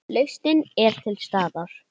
Lausnin er til staðar.